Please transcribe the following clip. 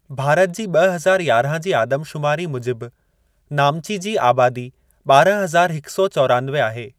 भारत जी ॿ हज़ार यारहां जी आदमशुमारी मुजिबु, नामची जी आबादी ॿारहां हज़ार हिक सौ चौरानवे आहे।